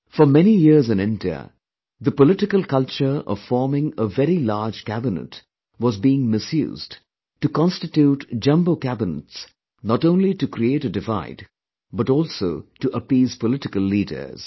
For many years in India, the political culture of forming a very large cabinet was being misused to constitute jumbo cabinets not only to create a divide but also to appease political leaders